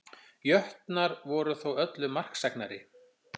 Jötnar voru þó öllu marksæknari